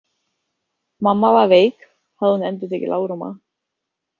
Mamma var veik, hafði hún endurtekið lágróma.